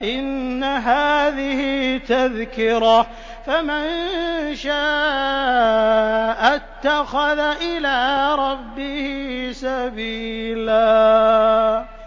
إِنَّ هَٰذِهِ تَذْكِرَةٌ ۖ فَمَن شَاءَ اتَّخَذَ إِلَىٰ رَبِّهِ سَبِيلًا